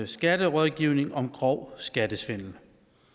skatterådgivning om grov skattesvindel